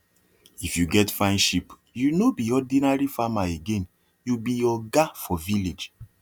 if you get fine sheep you no be ordinary farmer again you be oga for village